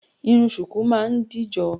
Irun ṣùkú máa ń dìjọ